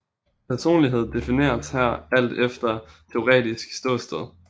Personlighed defineres her alt efter teoretisk ståsted